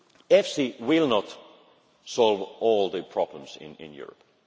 done. EFSI will not solve all the problems in